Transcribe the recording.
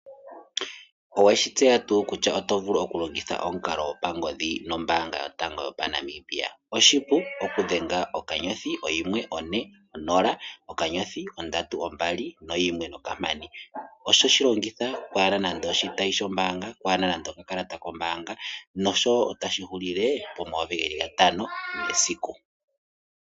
Oweshi tseya tuu kutya oto vulu oku longitha omukalo go pangodhi nombaanga yotango yopaNamibia. Oshipu oku dhenga okanyothi oyimwe one onola okanyothi, ondatu ombali noyimwe nokampani. Otoshi longitha oku adha nande oshitayi shombaanga ku hana nande okakalata kombaanga nosho wo otashi hulile po mayovi geli gatano mesiku.